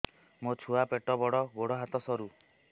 ମୋ ଛୁଆ ପେଟ ବଡ଼ ଗୋଡ଼ ହାତ ସରୁ